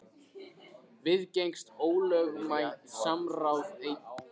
Viðgengst ólögmætt samráð enn í dag?